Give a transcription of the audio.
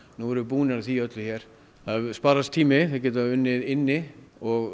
nú erum við búnir að því öllu hér það sparast tími við að geta unnið inni og